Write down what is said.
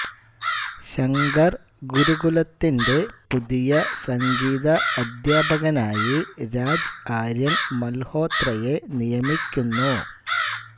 ശങ്കർ ഗുരുകുലത്തിന്റെ പുതിയ സംഗീത അധ്യാപകനായി രാജ് ആര്യൻ മൽഹോത്രയെ നിയമിക്കുന്നു